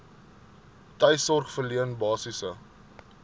tuissorg verleen basiese